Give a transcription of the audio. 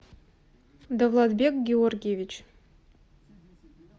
давлатбек георгиевич